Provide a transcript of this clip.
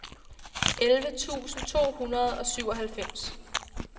elleve tusind to hundrede og syvoghalvfems